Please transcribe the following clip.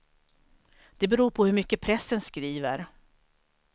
Det beror på hur mycket pressen skriver.